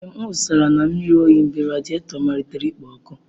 Ee, m wụsara na mmiri oyi mgbe radiato malitere ikpo ọkụ.